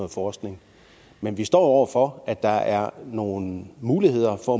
forskning men vi står over for at der er nogle muligheder for